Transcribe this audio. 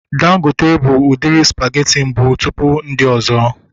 Dangote bụ udiri spageti mbụ tụpụ ndị ọzọ